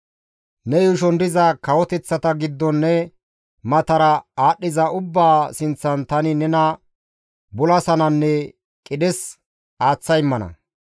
«Ne yuushon diza kawoteththata giddon ne matara aadhdhiza ubbaa sinththan tani nena bulasananne qidhes aaththa immana.